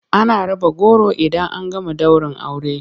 Ana raba goro idan an gama daurin aure.